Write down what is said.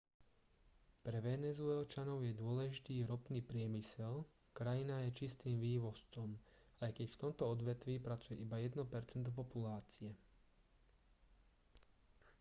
pre venezuelčanov je dôležitý ropný priemysel krajina je čistým vývozcom aj keď v tomto odvetví pracuje iba jedno percento populácie